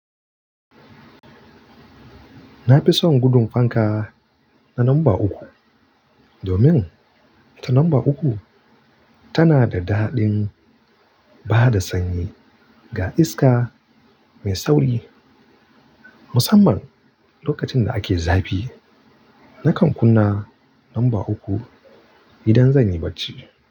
Na fi son gudun fanka na lamba uku, domin ta lamba uku tana da daɗin ba da sanyi ga iska mai sauri. Musamman lokacin da ake zafi, nakan kunna lamba uku idan zan yi barci.